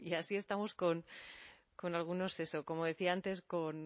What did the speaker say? así estamos con algunos eso como decía antes